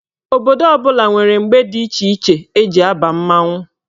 Obodo ọbụla nwere mgbe dị iche iche eji aba mmanwụ.